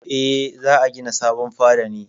Eh, za a gina sabon fada ne.